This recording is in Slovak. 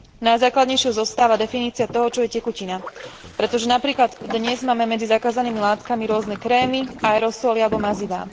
Najzákladnejšou zostáva definícia toho, čo je tekutina, pretože napríklad dnes máme medzi zakázanými látkami rôzne krémy, aerosoly alebo mazivá.